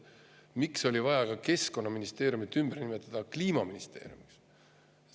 Miks oli vaja ka Keskkonnaministeerium ümber nimetada Kliimaministeeriumiks?